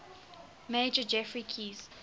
major geoffrey keyes